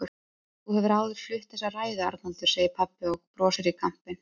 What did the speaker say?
Þú hefur áður flutt þessa ræðu, Arnaldur, segir pabbi og brosir í kampinn.